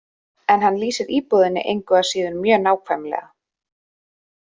En hann lýsir íbúðinni engu að síður mjög nákvæmlega.